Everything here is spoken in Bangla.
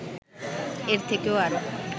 এর থেকে আরও